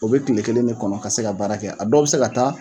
O bɛ tile kelen de kɔnɔ ka se ka baara kɛ, a dɔw bɛ se ka taa